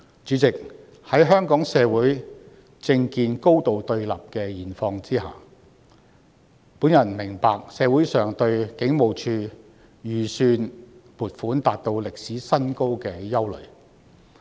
主席，在香港社會政見高度對立的現況下，我明白社會上對警務處預算撥款達到歷史新高的憂慮。